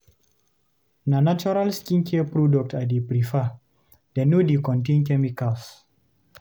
Na natural skincare products I dey prefer, dem no dey contain chemicals.